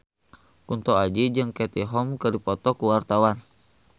Kunto Aji jeung Katie Holmes keur dipoto ku wartawan